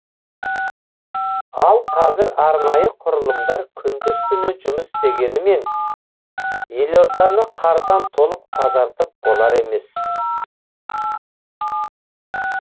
ал қазір арнайы құрылымдар күндіз түні жұмыс істегенімен елорданы қардан толық тазартып болар емес